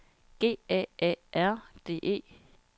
G A A R D E